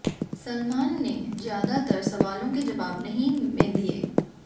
सलमान ने ज्यादातार सवालों के जवाब नहीं में दिए